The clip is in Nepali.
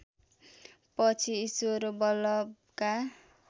पछि ईश्वर वल्लभका